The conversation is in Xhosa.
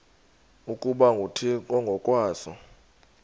ukuba nguthixo ngokwaso